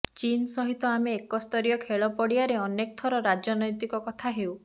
ଚୀନ୍ ସହିତ ଆମେ ଏକ ସ୍ତରୀୟ ଖେଳ ପଡ଼ିଆରେ ଅନେକ ତର ରାଜନୈତିକ କଥା ହେଉ